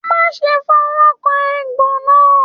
Má ṣe fọwọkàn egbò náà!